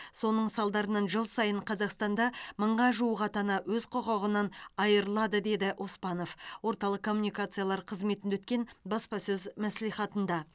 соның салдарынан жыл сайын қазақстанда мыңға жуық ата ана өз құқығынан айырылады деді оспанов орталық коммуникациялар қызметінде өткен баспасөз мәслихатында